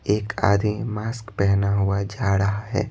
एक आदमी मास्क पहना हुआ जा रहा है।